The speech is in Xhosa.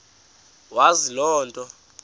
wazi loo nto